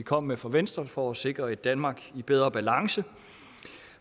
kom med fra venstre for at sikre et danmark i bedre balance